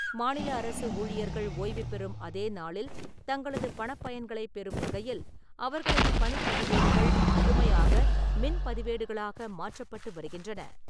மாநில அரசு ஊழியர்கள் ஓய்வு பெறும் அதே நாளில் தங்களது பணப் பயன்களைப் பெறும் வகையில், அவர்களது பணிப் பதிவேடுகள் முழுமையாக மின் பதிவேடுகளாக மாற்றப்பட்டு வருகின்றன.